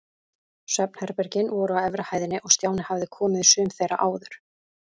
Svefnherbergin voru á efri hæðinni og Stjáni hafði komið í sum þeirra áður.